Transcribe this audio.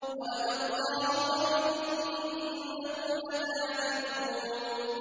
وَلَدَ اللَّهُ وَإِنَّهُمْ لَكَاذِبُونَ